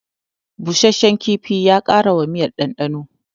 Busasshen kifin ya ƙara wa miyar ɗanɗano